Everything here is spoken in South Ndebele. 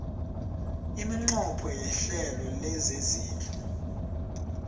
iminqopho yehlelo lezezindlu